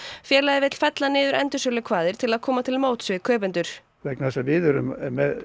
félagið vill fella niður til að koma til móts við kaupendur vegna þess að við erum